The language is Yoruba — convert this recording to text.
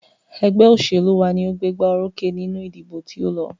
Ẹgbẹ́ òṣèlú wa ní o gbégbá orókè nínú ìdìbò tí o lọ.